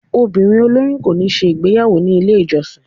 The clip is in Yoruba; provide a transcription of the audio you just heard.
obírín oloyun ko ni ṣe igbeyawo ni ile ijọsin.